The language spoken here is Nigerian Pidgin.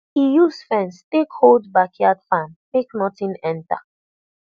e use fence take hold backyard farm make nothing enter